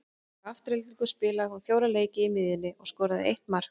Hjá Aftureldingu spilaði hún fjóra leiki á miðjunni og skoraði eitt mark.